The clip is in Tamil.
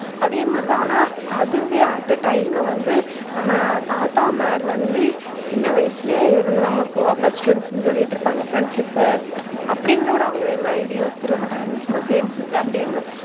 அதே மாதிரி தான் ஆனா அதுவே at a time ல வந்து நம்ம தாத்தா மார் வந்து சின்ன வயசுல இருந்து நமக்கு best friends னு சொல்லிட்டு இருக்காங்க. friendship அப்படின்னு கூட இதுவெல்லாம் யோசிச்சி இருக்க மாட்டாங்க சும்மா சேர்ந்து சுத்து அப்படி இருக்கும்.